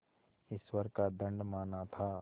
ईश्वर का दंड माना था